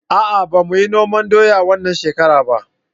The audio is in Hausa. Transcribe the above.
A'a ba muyi noman doya wannan shekara ba